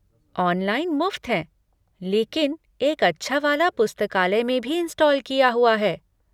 Online मुफ़्त हैं, लेकिन एक अच्छा वाला पुस्तकालय में भी इंस्टॉल किया हुआ है।